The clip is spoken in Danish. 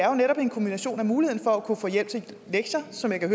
jo netop er en kombination af muligheden for at kunne få hjælp til lektier som jeg kan